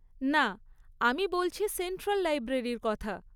না, আমি বলছি সেন্ট্রাল লাইব্রেরির কথা।